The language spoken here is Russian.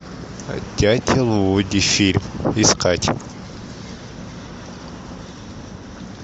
дятел вуди фильм искать